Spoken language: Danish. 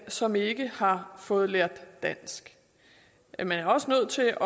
som ikke har fået lært dansk men man er også nødt til at